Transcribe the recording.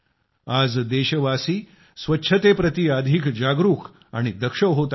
आज देशवासी स्वच्छतेप्रती अधिक जागरूक आणि दक्ष होत आहेत